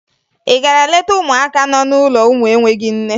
Ị gara leta ụmụaka nọ n'ụlọ ụmụ enweghi nne?